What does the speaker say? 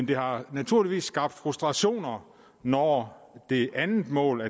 det har naturligvis skabt frustrationer når det andet mål